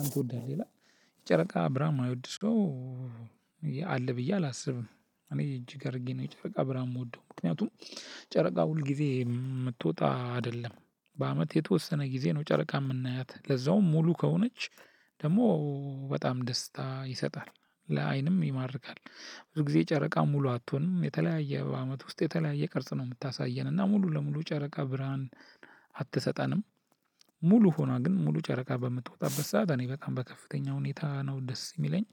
አንተ ትወዳለህ ይላል ጨረቃ ብርሃን የማይወድ ሰው። ብዬ አላስብም እኔ እጅግ ነው ጨረቃ ብርሃን የምወደው ምክንያቱም። ጨረቃ ሁል ጊዜ የምትወጣ አደለም በአመት የተወሰነ ጊዜ ነው ጨረቃ የምናያት ለዛውም ሙሉ ከሆነች ደግሞ በጣም ደስታ ይሰጣል ለአይንም ይማርካል። ብዙ ጊዜ ጨረቃ ሙሉ አትሆንም የተለያየ አመት ውስጥ የተለያየ ቅርጽ ነው የምታሳየን እና ሙሉ ለሙሉ ጨረቃ ብርሃን አትሰጠንም። ሙሉ ሆና ግን ሙሉ ጨረቃ በምትወጣበት ሰዓት እኔ በጣም በከፍተኛ ሁኔታ ነው ደስ የሚለኝ።